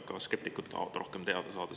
Ka skeptikud tahavad rohkem teada saada.